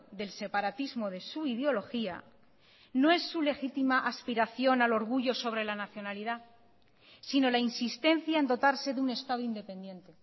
del separatismo de su ideología no es su legitima aspiración al orgullo sobre la nacionalidad sino la insistencia en dotarse de un estado independiente